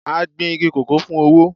A gbìn igi kòkó fún owó.